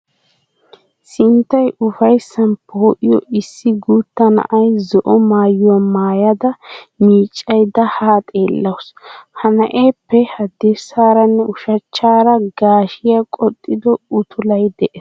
Sinttay ufayssan poo'iyo issi guutta na'iya zo'o maayuwa maayada miiccaydda ha xeellawusu. Ha na'eeppe haddirssaara nne ushachchaara gaashiya qoxxido utulay de'es.